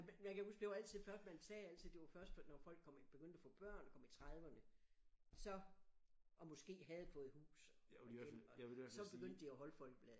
Men jeg kan huske det var altid først man sagde altid det var først når folk kom i begyndte at få børn og kom i 30'erne så og måske havde fået hus og gæld og så begyndte de at holde Folkebladet